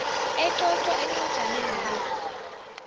ecocwa encwajaneni le